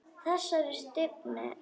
Þessari stífni.